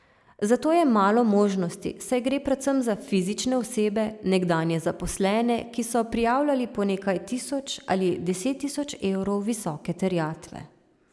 Za to je malo možnosti, saj gre predvsem za fizične osebe, nekdanje zaposlene, ki so prijavljali po nekaj tisoč ali deset tisoč evrov visoke terjatve.